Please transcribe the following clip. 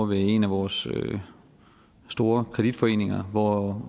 en af vores store kreditforeninger hvor